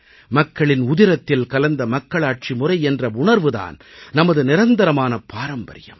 மக்களின் உதிரத்தில் கலந்த மக்களாட்சி முறை என்ற உணர்வு தான் நமது நிரந்தரமான பாரம்பரியம்